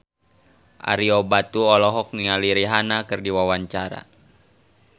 Ario Batu olohok ningali Rihanna keur diwawancara